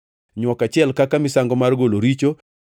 nywok achiel kaka misango mar golo richo;